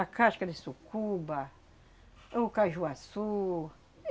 A casca de sucuba, o caju-açú.